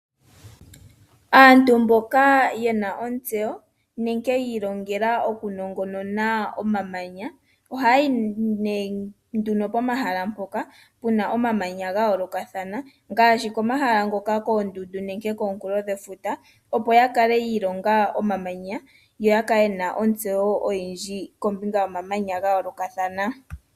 Aantu mboka ye na ontseyo nenge yi ilongela okunongonona omamanya ohaya yi komahala mpoka pu na omamanya ga yoolokathana ngaashi koondundu nenge kominkulo dhefuta opo ya kale yi ilonga omamanya yo ya kale ye na ontseyo oyindji kombinga yomamanya ga yoolokathana.